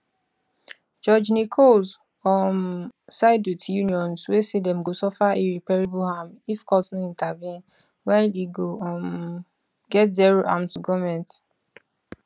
judge nichols um side wit unions wey say dem go suffer irreparable harm if court no intervene while e go um get zero harm to goment